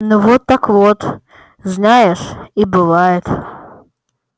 ну вот так вот знаешь и бывает